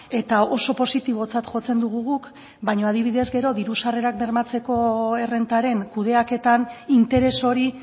eta oso positibotzat jotzen dugu guk baino adibidez gero diru sarrerak bermatzeko errentaren kudeaketan interes hori